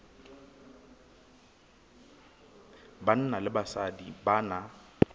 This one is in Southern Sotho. banna le basadi ba na